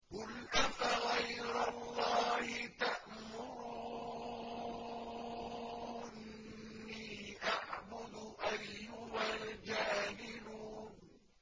قُلْ أَفَغَيْرَ اللَّهِ تَأْمُرُونِّي أَعْبُدُ أَيُّهَا الْجَاهِلُونَ